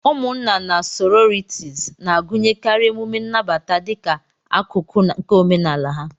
Ụmụnna na sororities na-agụnyekarị emume nnabata dịka akụkụ nke omenala ha.